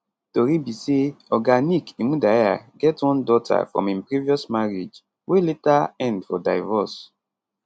tori be say oga nick imudia get one daughter from im previous marriage wey later end for divorce